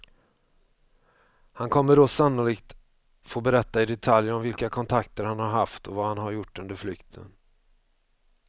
Han kommer då sannolikt få berätta i detalj om vilka kontakter han har haft och vad han har gjort under flykten.